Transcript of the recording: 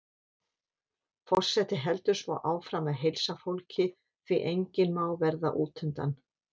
Forseti heldur svo áfram að heilsa fólki, því enginn má verða útundan.